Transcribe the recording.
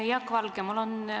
Aitäh!